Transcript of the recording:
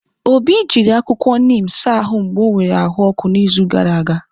Obi jiri akwụkwọ neem saa ahụ mgbe ọ nwere ahụ ọkụ n'izu gara aga.